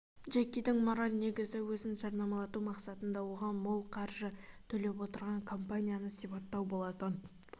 джекидің мораль негізі өзін жарнамалату мақсатында оған мол қаржы ақша төлеп отырған компанияны сипаттау болатын